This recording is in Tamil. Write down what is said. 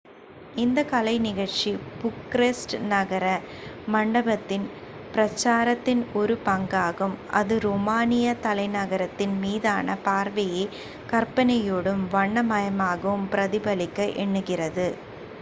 இந்த கலை நிகழ்ச்சி புக்கரெஸ்ட் நகர மண்டபத்தின் பிரச்சாரத்தின் ஒரு பங்காகும் அது ரோமானிய தலைநகரத்தின் மீதான பார்வையை கற்பனையோடும் வண்ண மயமாகவும் பிரதிபலிக்க எண்ணுகிறது